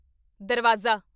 ਦਰਵਾਜ਼ਾ